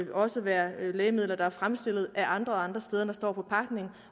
også være lægemidler der er fremstillet af andre og andre steder end der står på pakningen